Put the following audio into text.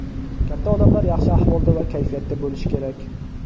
Katta odamlar yaxshi ahvolda va kayfiyatda bo‘lishi kerak.